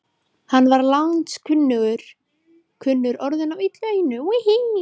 Hann var landskunnur orðinn og af illu einu.